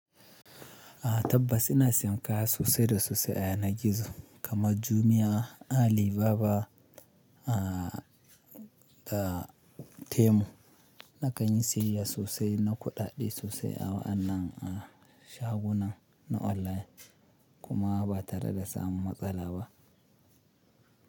Tabbas ina siyan kaya sosai da sosai a yanar gizo kamar Jumia, Alibaba da Temu na ƙanyi siyayya sosai na kuɗaɗe sosai awa anan a shagunan na online kuma ba tare da samu matsala ba.